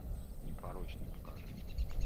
непорочный покажи